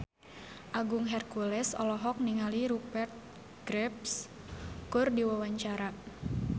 Agung Hercules olohok ningali Rupert Graves keur diwawancara